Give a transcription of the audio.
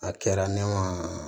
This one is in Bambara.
A kɛra ne ma